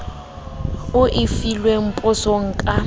o e filweng potsong ka